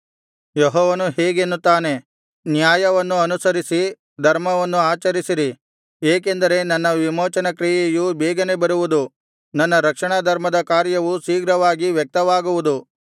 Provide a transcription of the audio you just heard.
ಯೆಹೋವನು ಹೀಗೆನ್ನುತ್ತಾನೆ ನ್ಯಾಯವನ್ನು ಅನುಸರಿಸಿ ಧರ್ಮವನ್ನು ಆಚರಿಸಿರಿ ಏಕೆಂದರೆ ನನ್ನ ವಿಮೋಚನಕ್ರಿಯೆಯು ಬೇಗನೆ ಬರುವುದು ನನ್ನ ರಕ್ಷಣಾಧರ್ಮದ ಕಾರ್ಯವು ಶೀಘ್ರವಾಗಿ ವ್ಯಕ್ತವಾಗುವುದು